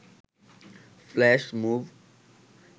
flash move